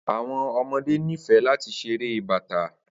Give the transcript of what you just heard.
Awọn ọmọde nifẹ lati ṣere Bata